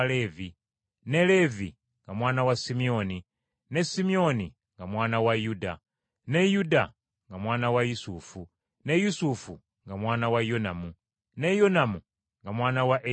ne Leevi nga mwana wa Simyoni, ne Simyoni nga mwana wa Yuda, ne Yuda nga mwana wa Yusufu, ne Yusufu nga mwana wa Yonamu, ne Yonamu nga mwana wa Eriyakimu,